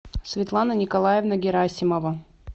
светлана николаевна герасимова